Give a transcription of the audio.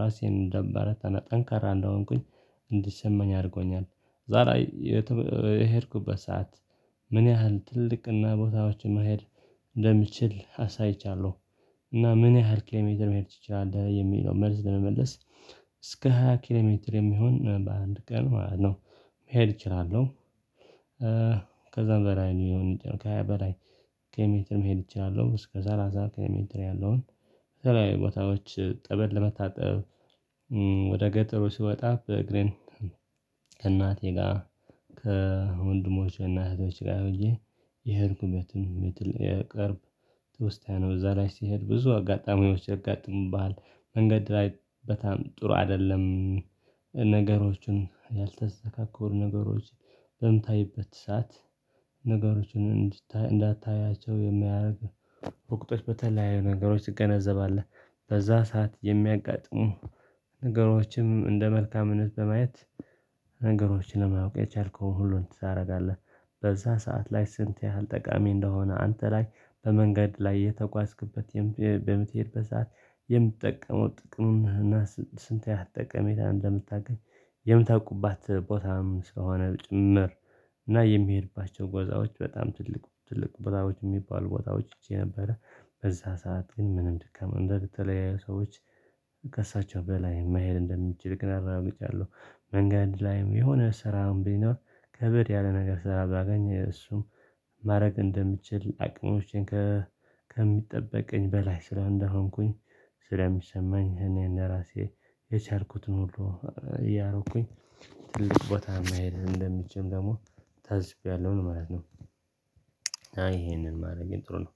ራሴን እንዳበረታና ጠንካራ እንደሆንኩኝ እንዲሰማኝ አድርጎኛል ዛሬ የሄድኩበት ሰዓት ምን ያህል ትልቅና ቦታዎችን መሄድ እንደምችል አሳይቻለሁ እና ምን ያህል ኪሌሜትር መሄድ ትችላለህ የሚለው መልስ ለመመለስ እስከ 20 ኪሎ ሜትር የሚሆን በአንድ ቀን ማለት ነው መሄድ እችላለሁ ከዛም በላይ ሊሆን ይችላል። ከሃያ በላይ ኬሎ ሜትር መሄድ እችላለሁ። እስከ ሰላሳ ኪሎ ሜትር ያለውን በተለያዩ ቦታዎች ጠበል ለመታጠብ ወደ ገጠሩ ስወጣ በእግሬን ከእናቴ ጋር ከወንድሞች እና እህቶች ጋር ሁኜ የሄድኩበትን የቅርብ ትውስታየ ነው። እዛ ላይ ስሄድ ብዙ አጋጣሚዎች ያጋጥሙብሃል። መንገድ ላይ በጣም ጥሩ አይደለም። ነገሮችን ያልተስተካከሉ ነገሮች በምታይበት ሰዓት ነገሮችን እንዳታያቸው የሚያደርግ ወቅቶች በተለያዩ ነገሮች ትገነዘባለህ። በዛ ሰዓት የሚያጋጥሙ ነገሮችም እንደ መልካምነት በማየት ነገሮችን ለማወቅ የቻልከውን ሁሉን ታደርጋለህ። በዛ ሰዓት ላይ ስንት ያህል ጠቃሚ እንደሆነ አንተ ላይ በመንገድ ላይ የተጓዝክበት በምትሄድበት ሰዓት የምትጠቀመው ጥቅም እና ስንት ያህል ጠቀሜታ እንደምታገኝ የምታውቁባት ቦታም ስለሆነ ጭምር እና የሚሄድባቸው ቦታዎች በጣም ትልቅ ትልቅ ቦታዎች የሚባሉ ቦታዎች ሂጄ ነበረ በዛ ሰዓት ግን ምንም ድካም እንደተለያዩ ሰዎች ከእሳቸው በላይ መሄድ እንደምንችል ግን አረጋግጫለሁ። መንገድ ላይም የሆነ ስራም ቢኖር ከበድ ያለ ነገር ስራ ባገኝ እሱም ማድረግ እንደምችል አቅሞቼን ከሚጠብቀኝ በላይ ስራ እንደሆንኩኝ ስለሚሰማኝ እኔን ለራሴ የቻልኩትን ሁሉ እያረኩኝ ትልቅ ቦታ ማየት እንደምችል ደግሞ ታዝቤያለሁ ነው ማለት ነው። እና ይሄንን ማድረጌ ጥሩ ነው።